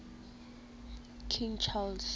king charles